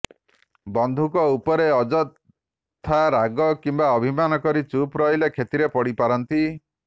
ବନ୍ଧୁଙ୍କ ଉପରେ ଅଯଥା ରାଗ କିମ୍ବା ଅଭିମାନ କରି ଚୁପ୍ ରହିଲେ କ୍ଷତିରେ ପଡିପାରନ୍ତି